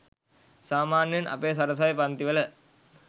සාමාන්‍යයෙන් අපේ සරසවි පංතිවල